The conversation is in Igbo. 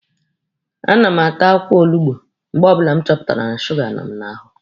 A na m ata akwụkwọ olugbo mgbe ọbụla m chọpụtara na suga nọ m n'ahụ.